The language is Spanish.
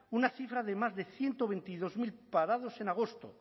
una cifra de más de ciento veintidós mil parados en agosto